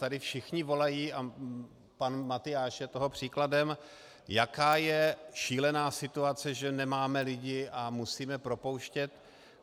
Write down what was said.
Tady všichni volají, a pan Matyáš je toho příkladem, jaká je šílená situace, že nemáme lidi a musíme propouštět.